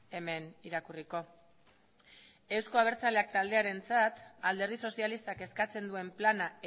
hemen irakurriko euzko abertzaleak taldearentzat alderdi sozialistak eskatzen duen plana